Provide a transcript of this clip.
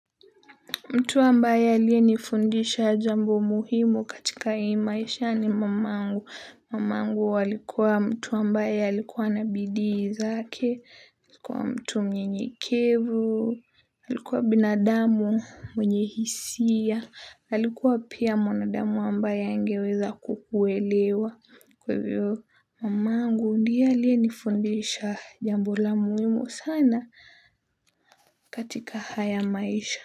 Mtu ambaye aliyenifundisha jambo muhimu katika hii maisha ni mamangu, mamangu alikuwa mtu ambaye alikuwa na bidii zake, mtu mnyenyekevu, alikuwa binadamu mwenye hisia, alikuwa pia mwanadamu ambaye angeweza kukuelewa kwa hivo, mamangu ndiye aliyenifundisha jambo la muhimu sana katika haya maisha.